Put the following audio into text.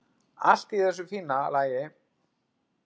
Allt í þessu fína lagi.